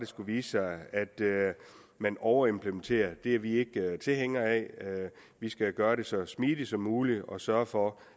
skulle vise sig at man overimplementerer det er vi ikke tilhængere af vi skal gøre det så smidigt som muligt og sørge for